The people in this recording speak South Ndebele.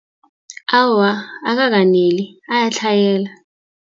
Awa, akakaneli, ayatlhayela.